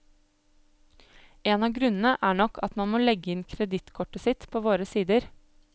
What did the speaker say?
En av grunnene er nok at man må legge inn kredittkortet sitt på våre sider.